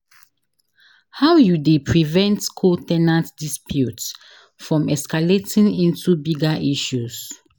How you dey prevent co- ten ant disputes from escalating into bigger issues.